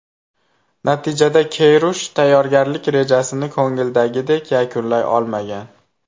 Natijada Keyrush tayyorgarlik rejasini ko‘ngildagidek yakunlay olmagan.